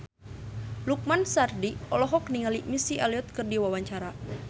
Lukman Sardi olohok ningali Missy Elliott keur diwawancara